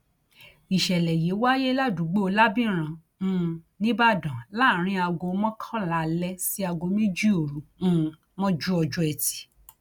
ìṣẹlẹ yìí wáyé ládùúgbò lábìrán um nìbàdàn láàrin aago mọkànlá alẹ sí aago méjì òru um mọjú ọjọ etí